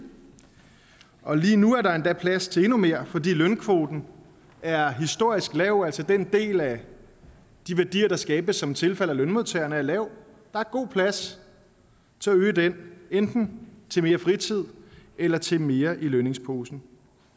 og lige nu er der endda plads til endnu mere fordi lønkvoten er historisk lav altså den del af de værdier der skabes som tilfalder lønmodtagerne er lav der er god plads til at øge den enten til mere fritid eller til mere i lønningsposen